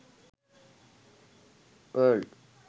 world